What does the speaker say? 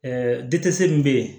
dise min bɛ yen